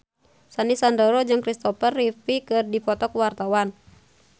Sandy Sandoro jeung Kristopher Reeve keur dipoto ku wartawan